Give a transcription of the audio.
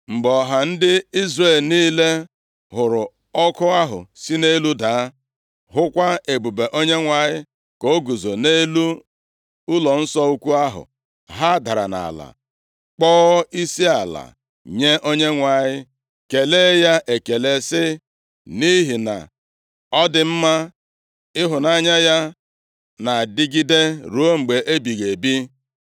Mgbe ọha ndị Izrel niile hụrụ ọkụ ahụ si nʼelu daa, hụkwa ebube Onyenwe anyị ka o guzo nʼelu ụlọnsọ ukwu ahụ, ha dara nʼala kpọọ isiala nye Onyenwe anyị, kelee ya ekele sị: “Nʼihi na Ọ dị mma ịhụnanya ya na-adịgide ruo mgbe ebighị ebi.”